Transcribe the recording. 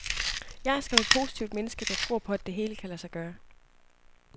Jeg er skam et positivt menneske, der tror på, at det hele kan lade sig gøre.